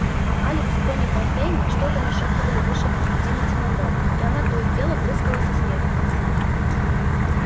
алекс и тони фонтейны что-то нашёптывали в уши димити манро и она то и дело прыскала со смеху